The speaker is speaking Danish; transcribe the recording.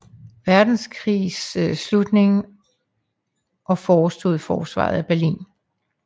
Verdenskrigs slutning og forestod forsvaret af Berlin